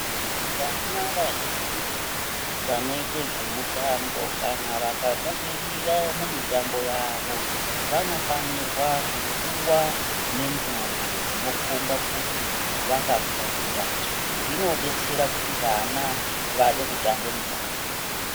Vana vazhinji vanoite zvemutambo kana vakabudirira mumitambo yavo vanofanirwa kupuwa menduru dzinokomba kuti vakakunda zvinodetsera kuti vana vade kutamba mitambo.